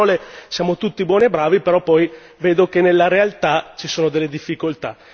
Perché a parole siamo tutti buoni e bravi, però poi vedo che nella realtà ci sono delle difficoltà.